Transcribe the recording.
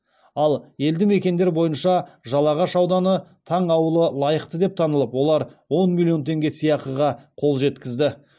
ал елді мекендер бойынша жалағаш ауданы таң ауылы лайықты деп танылып олар он миллион теңге сыйақыға қол жеткізді